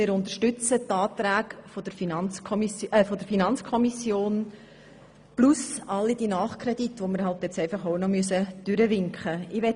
Wir unterstützen die Anträge der FiKo sowie all die Nachkredite, die wir nun auch noch durchwinken müssen.